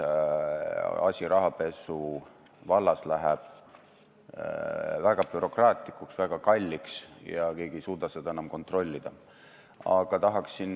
Pankadel võtab päevi, et arvet avama tuleva inimese taust selgeks teha, kui seal on mingisugune kahtlane asi.